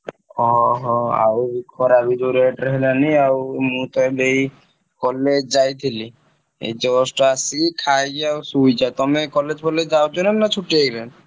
ଓହୋ ! ଆଉ ଖରା ବି ଯଉ rate ରେ ହେଲାଣି ଆଉ ମୁଁ ତ ଏବେ ଏଇ college ଯାଇଥିଲି ଏଇ just ଆସିକି ଖାଇକି ଆଉ ଶୋଇଛି ଆଉ ତମେ college ଫଲଏଗ ଯାଉଛ ନା ଛୁଟି ଏବେ।